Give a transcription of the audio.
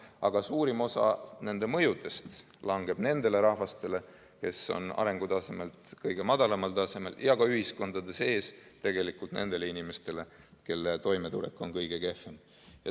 Aga suurim osa kogu selle mõjust langeb nendele rahvastele, kes on arengutasemelt kõige madalamal tasemel, ja ka ühiskondade sees tegelikult nendele inimestele, kelle toimetulek on kõige kehvem.